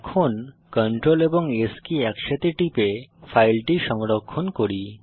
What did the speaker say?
এখন Ctrl এবং S কি একসাথে টিপে ফাইলটি সংরক্ষণ করি